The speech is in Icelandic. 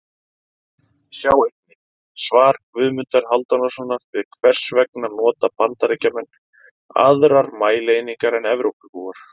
Sjá einnig: Svar Guðmundar Hálfdanarsonar við Hvers vegna nota Bandaríkjamenn aðrar mælieiningar en Evrópubúar?